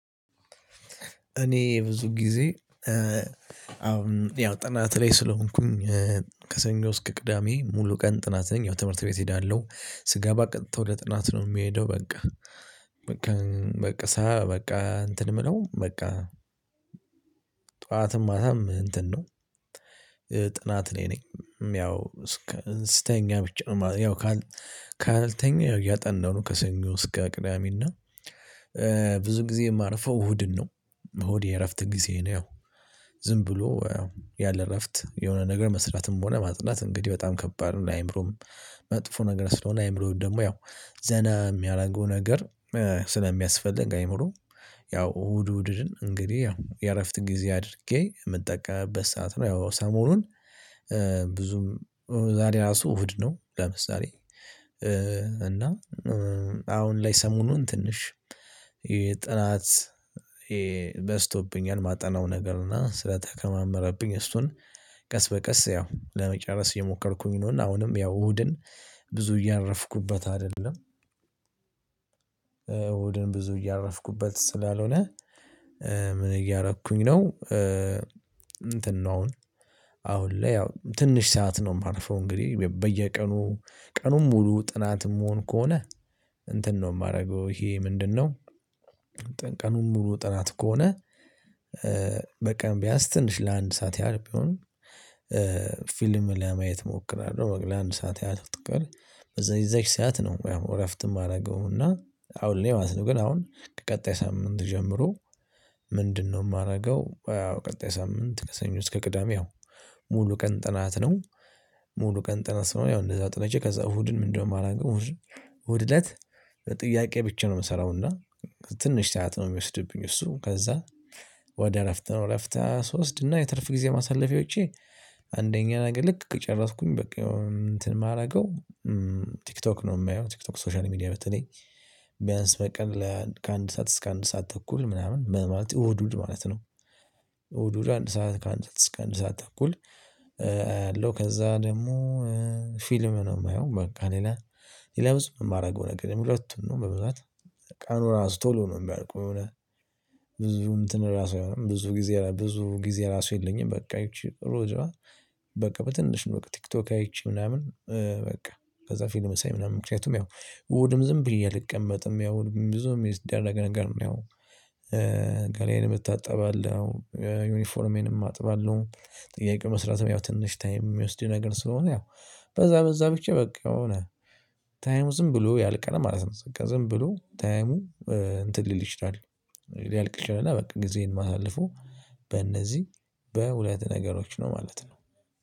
እኔ ብዙ ጊዜ አሁን ያው ጥናት ላይ ስለሆንኩኝ። ከሰኞ ውስጥ እስከ ቅዳሜ ሙሉ ቀን ጥናት ነኝ ያው ትምህርት ቤት እሄዳለሁ ስገባ ቀጥታ ወደ ጥናት ነው የምሄደው በቃ። በቃ በቃ እንትን የምለው በቃ ጠዋትም ማታም እንትን ነው። ጥናት ላይ ነኝ ያው እስከ ስተኛ ብቻ ነው ማለት ነው። ያው ካልተኛ ያጠናው ከሰኞ እስከ ቅዳሜና ብዙ ጊዜ የማርፈው እሁድን ነው። እሁድ የእረፍት ጊዜ ነው። ያው ዝም ብሎ ያለ እረፍት የሆነ ነገር መስራትም ሆነ ማጽናት እንግዲህ በጣም ከባድ ነው። አይምሮም መጥፎ ነገር ስለሆነ አእምሮውን ደግሞ ያው ዘና የሚያደርገው ነገር ስለሚያስፈልግ። አእምሮ ያው እሁድ እሁድን እንግዲህ ያው የእረፍት ጊዜ አድርጌ የምጠቀምበት ሰዓት ነው። ያው ሰሞኑን ብዙም ዛሬ ራሱ እሁድ ነው። ለምሳሌ እና አሁን ላይ ሰሞኑን ትንሽ የጥናት የ በዝቶብኛል ማጠናው ነገር እና ስለተከማመረብኝ እሱን ቀስ በቀስ ያው ለመጨረስ የሞከርኩኝ ነው። እና አሁንም ያው እሁድን ብዙ እያረፍኩበት አይደለም። እሁድን ብዙ እያረፍኩበት ስላልሆነ። ምን እያረፍኩኝ ነው? እንትን ነው አሁን አሁን ላይ ያው ትንሽ ሰዓት ነው። የማርፈው እንግዲህ በየቀኑ ቀኑን ሙሉ ጥናትም እምሆን ከሆነ እንትን ነው እማረገው ይሄ ምንድነው? ቀኑን ሙሉ ጥናት ከሆነ በቀን ቢያንስ ትንሽ ለአንድ ሰዓት ያህል ቢሆን ፊልም ለማየት እሞክራለሁ። ለአንድ ሰዓት ያህል ትቀር በዛ ይዘህ ሰዓት ነው ያው እረፍትም እማረገውና አሁን እኔ ማለት ነው። ግን አሁን ቀጣይ ሳምንት ጀምሮ ምንድነው እማረገው ያው ቀጣይ ሳምንት ለሰኞ እስከ ቅዳሜ ያው ሙሉ ቀን ጥናት ነው። ሙሉ ቀን ጥናት ስለሆነ ያው እንደዛ ጥናቄ ከዛ እሁድን ምንድነው የማላውቀው? እሁድ እለት። በጥያቄ ብቻ ነው የምሰራው እና ትንሽ ሰዓት ነው የሚወስድብኝ። እሱ ከዛ ወደ እረፍት ነው እረፍት እወስድና የትርፍ ጊዜ ማሳለፊያ ውጪ። አንደኛ ነገር ልክ ከጨረስኩኝ በቃ እንትን የማደርገው ቲክቶክ ነው የማየው። ቲክቶክ ሶሻል ሚዲያ በተለይ ቢያንስ በቀን ላይ ከአንድ ሰዓት እስከ አንድ ሰዓት ተኩል ምናምን ምናምን እሁድ እሁድ ማለት ነው። እሁድ እሁድ አንድ ሰዓት ከአንድ ሰዓት እስከ አንድ ሰዓት ተኩል። አያለው ከዛ ደግሞ ፊልም ነው የማየው። በቃ ሌላ ሌላ ብዙ የማደርገው ነገር የለም። ሁለቱን ነው በብዛት ቀኑን ራሱ ቶሎ ነው የሚያውቀው። የሆነ ብዙ እንትን ራሱ አይሆንም ብዙ ጊዜ ብዙ ጊዜ ራሱ የለኝም። በቃ አይችልም ሮጃ በቃ በትንሽ ነው በቃ ቲክቶክ አይቼ ምናምን። በቃ ከዛ ፊልም ሳይ ምናምን ምክንያቱም ያው እሁድም ዝም ብዬ አልቀመጥም። ያው ብዙም የሚስደረግ ነገር ያው ገላዬንም እታጠባለሁ ዩኒፎርሜንም አጥባለሁ። ጥያቄ መስራትም ያው ትንሽ ታይም የሚወስድ ነገር ስለሆነ ያው በዛ በዛ ብቻ በቃ የሆነ ታይሙ ዝም ብሎ ያልቃል ማለት ነው። ዝም ብሎ ታይሙ እንትን ሊል ይችላል። ሊያልቅ ይችላል እና በቃ ጊዜን ማሳለፉ በእነዚህ በሁለት ነገሮች ነው ማለት ነው።